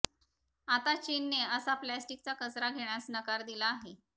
आता चीनने असा प्लास्टिकचा कचरा घेण्यास नकार दिला आहे